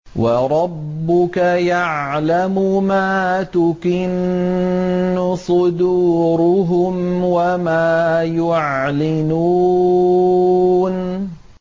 وَرَبُّكَ يَعْلَمُ مَا تُكِنُّ صُدُورُهُمْ وَمَا يُعْلِنُونَ